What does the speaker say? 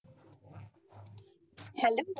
Hello